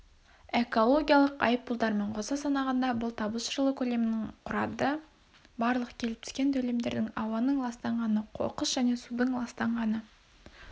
экологиялық айыппұлдармен қоса санағанда бұл табыс жылы көлемінің құрады барлық келіп түскен төлемдердің ауаның ластанғаны қоқыс және судың ластанғаны